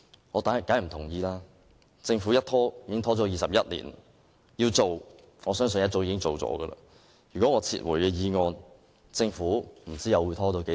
我當然不同意，政府已拖延了21年，如果要做，我相信早已做了，如果我撤回議案，不知道政府又會拖到何時。